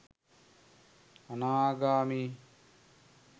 අනාගාමී,